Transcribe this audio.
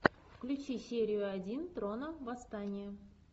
включи серию один трона восстание